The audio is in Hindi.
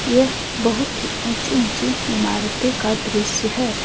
यह बहुत ही ऊंची ऊंची इमारतें का दृश्य है।